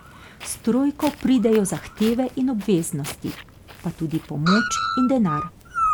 S trojko pridejo zahteve in obveznosti, pa tudi pomoč in denar.